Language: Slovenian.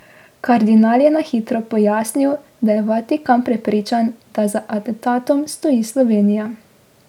Kardinal je na hitro pojasnil, da je Vatikan prepričan, da za atentatom stoji Slovenija.